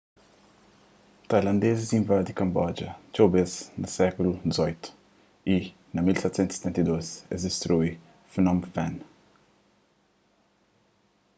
tailandezis invadi kamboja txeu bês na sékulu xviii y na 1772 es distrui phnom phen